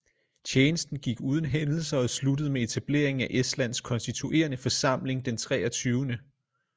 Tjenesten gik uden hændelser og sluttede med etableringen af estlands konstituerende forsamling den 23